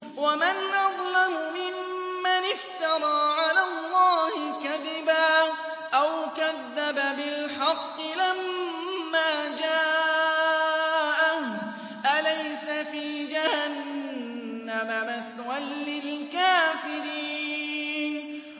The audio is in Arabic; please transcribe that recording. وَمَنْ أَظْلَمُ مِمَّنِ افْتَرَىٰ عَلَى اللَّهِ كَذِبًا أَوْ كَذَّبَ بِالْحَقِّ لَمَّا جَاءَهُ ۚ أَلَيْسَ فِي جَهَنَّمَ مَثْوًى لِّلْكَافِرِينَ